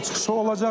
o çıxışı olacaq.